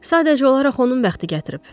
Sadəcə olaraq onun bəxti gətirib.